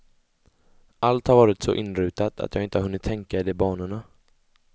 Allt har varit så inrutat att jag inte har hunnit tänka i de banorna.